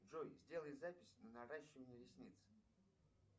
джой сделай запись на наращивание ресниц